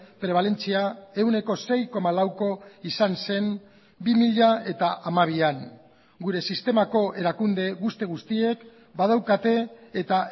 prebalentzia ehuneko sei koma lauko izan zen bi mila hamabian gure sistemako erakunde guzti guztiek badaukate eta